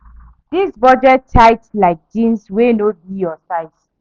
This budget tight like jeans wey no be your size.